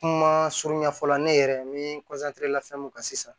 Kuma surunya fɔlɔ ne yɛrɛ ye min lafɛn mun ka sisan